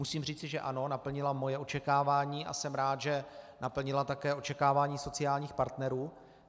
Musím říci, že ano, naplnila moje očekávání, a jsem rád, že naplnila také očekávání sociálních partnerů.